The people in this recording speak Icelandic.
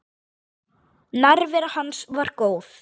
Nærvera hans var góð.